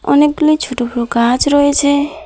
অনেকগুলি ছোট বড় গাছ রয়েছে।